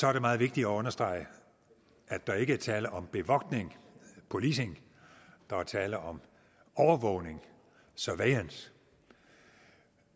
er det meget vigtigt at understrege at der ikke er tale om bevogtning policing der er tale om overvågning surveillance